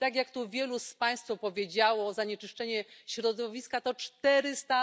Tak jak tu wiele z państwa powiedziało, zanieczyszczenie środowiska to 400